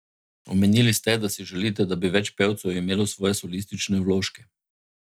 Omenili ste, da si želite, da bi več pevcev imelo svoje solistične vložke.